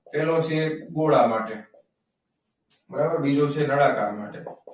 પેહલો છે ગોળા માટે. બીજો છે નાળાકાર માટે.